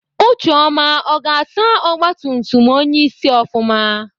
Ucheọma ọ ga-asa ọgbatumtum onyeisi ofụma?